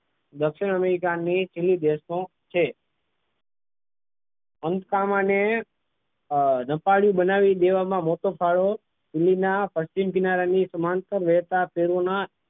દક્ષિણ america ની Chile દેશમાં છે આને રસાળુ બનાવી દેવામાં મોટો ફાળો ચીલીના પશ્ચિમ કિનારાની સમાંતર રહેતા પૂર્વના